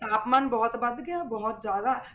ਤਾਪਮਾਨ ਬਹੁਤ ਵੱਧ ਗਿਆ ਬਹੁਤ ਜ਼ਿਆਦਾ।